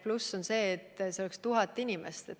Pluss see probleem, kes oleks need 1000 inimest.